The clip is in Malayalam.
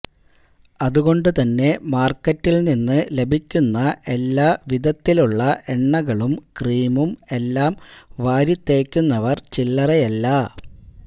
അതുകൊണ്ട് തന്നെ മാർക്കറ്റിൽ നിന്ന് ലഭിക്കുന്ന എല്ലാ വിധത്തിലുള്ള എണ്ണകളും ക്രീമും എല്ലാം വാരിത്തേക്കുന്നവർ ചില്ലറയല്ല